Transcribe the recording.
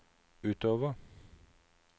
utover